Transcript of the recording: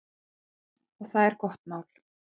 Nei, og það er gott mál.